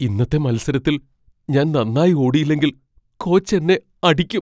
ഇന്നത്തെ മത്സരത്തിൽ ഞാൻ നന്നായി ഓടിയില്ലെങ്കിൽ കോച്ച് എന്നെ അടിക്കും.